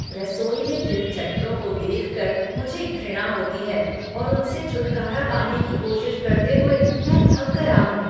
रसोई में तिलचट्टों को देखकर मुझे घृणा होती है और उनसे छुटकारा पाने की कोशिश करते हुए मैं थक गया हूँ।